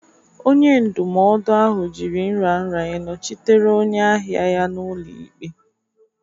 Onye ndụmọdụ ahụ jiri nraranye nọchitere onye ahịa ya n'ụlọ ikpe.